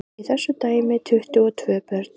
Í þessu dæmi tuttugu og tvö börn.